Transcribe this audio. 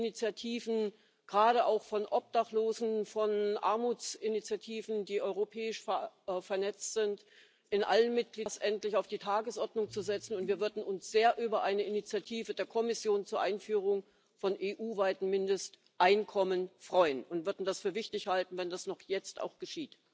Es gibt in allen Mitgliedstaaten Initiativen gerade auch von Obdachlosen, von Armutsinitiativen, die europäisch vernetzt sind dafür, das endlich auf die Tagesordnung zu setzen, und wir würden uns sehr über eine Initiative der Kommission zur Einführung von EU weiten Mindesteinkommen freuen und würden es für wichtig halten, wenn das jetzt noch geschieht.